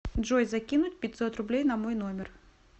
джой закинуть пятьсот рублей на мой номер